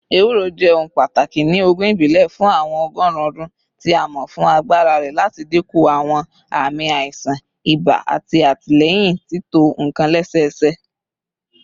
Ewuro jẹ ohun pataki ni oogun ibile fun awọn ọgọrun ọdun, ti a mọ fun agbara rẹ lati dinku awọn aami aisan iba ati atilẹyin tito nkan lẹsẹsẹ.